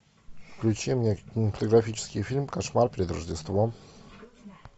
включи мне кинематографический фильм кошмар перед рождеством